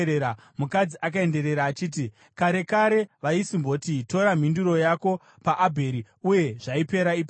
Mukadzi akaenderera achiti, “Kare kare vaisimboti, ‘Tora mhinduro yako paAbheri,’ uye zvaipera ipapo.